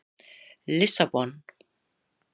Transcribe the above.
Lissabon